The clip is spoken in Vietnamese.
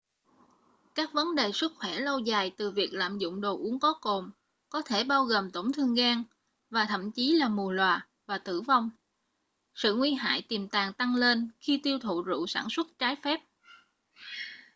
các vấn đề sức khỏe lâu dài từ việc lạm dụng đồ uống có cồn có thể bao gồm tổn thương gan và thậm chí là mù lòa và tử vong sự nguy hại tiềm tàng tăng lên khi tiêu thụ rượu sản xuất trái phép